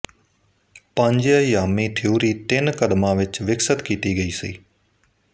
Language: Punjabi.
ਪੰਜਅਯਾਮੀ ਥਿਊਰੀ ਤਿੰਨ ਕਦਮਾਂ ਵਿੱਚ ਵਿਕਸਿਤ ਕੀਤੀ ਗਈ ਸੀ